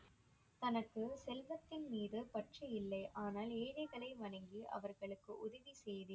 தனக்கு செல்வத்தின் மீது பற்று இல்லை, ஆனால் ஏழைகளை வணங்கி அவர்களுக்கு உதவி செய்தேன்.